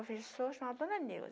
A professora se chamava Dona Neuza.